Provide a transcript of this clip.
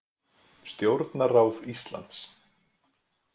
Stjórnarráð Íslands.